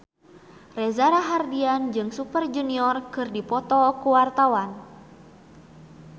Reza Rahardian jeung Super Junior keur dipoto ku wartawan